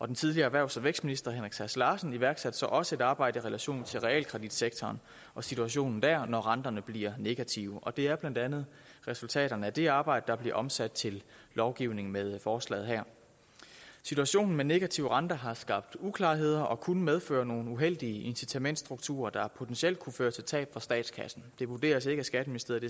den tidligere erhvervs og vækstminister henrik sass larsen iværksatte så også et arbejde i relation til realkreditsektoren og situationen der når renterne bliver negative og det er blandt andet resultaterne af det arbejde der bliver omsat til lovgivning med forslaget her situationen med negativ rente har skabt uklarheder og kunne medføre nogle uheldige incitamentstrukturer der potentielt kunne føre til tab for statskassen det vurderes ikke af skatteministeriet